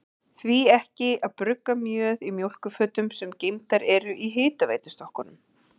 Því ekki að brugga mjöð í mjólkurfötum, sem geymdar eru í hitaveitustokkunum?